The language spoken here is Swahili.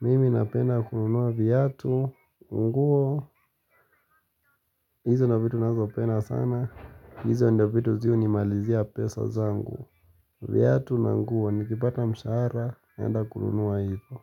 Mimi napenda kununua viatu, nguo. Hizo ndo vitu nazopenda sana. Hizo ndo vitu zi hunimalizia pesa zangu. Viatu na nguo nikipata mshahara, naenda kununua hiyo.